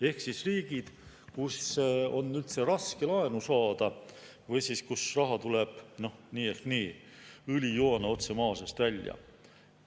Ehk riigid, kus on üldse raske laenu saada või kus raha tuleb nii ehk nii, õlijoana otse maa seest välja.